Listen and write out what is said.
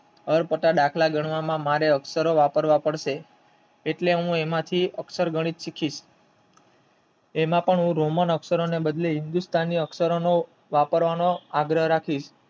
અટપટા દાખલા ગણવા મારે અક્ષર વાપરવા પડશે એટલે એમાંથી હું અક્ષર ગણિત શીખી એમાં પણ હું રોમન અક્ષર ને બદલે હું હિંદુસ્થાની અક્ષરો નો વાપરવા નો આગ્રહ રાખી